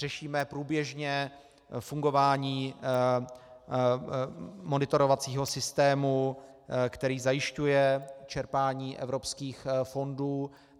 Řešíme průběžně fungování monitorovacího systému, který zajišťuje čerpání evropských fondů.